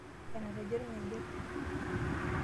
Enatejo orng'ejep.